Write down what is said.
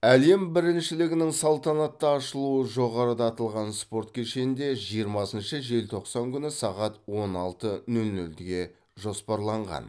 әлем біріншілігінің салтанатты ашылуы жоғарыда аталған спорт кешенде жиырмасыншы желтоқсан күні сағат он алты нөл нөлге жоспарланған